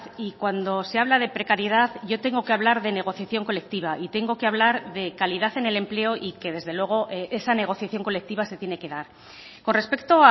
y cuando se habla de precariedad yo tengo que hablar de negociación colectiva y tengo que hablar de calidad en el empleo y que desde luego esa negociación colectiva se tiene que dar con respecto